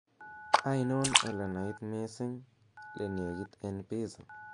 ainon olenait missing le negit en pizza